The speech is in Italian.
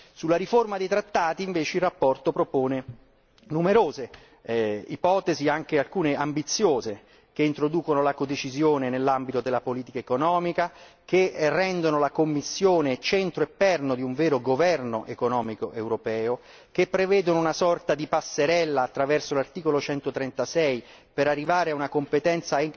Sulla riforma dei trattati invece la relazione propone numerose ipotesi, alcune anche ambiziose, che introducono la codecisione nell'ambito della politica economica, che rendono la Commissione centro e perno di un vero governo economico europeo, che prevedono una sorta di passerella attraverso l'articolo 136 per arrivare a una competenza